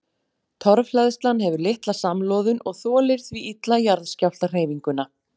Torfhleðslan hefur litla samloðun og þolir því illa jarðskjálftahreyfinguna.